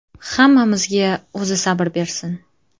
Hammamizga O‘zi sabr bersin.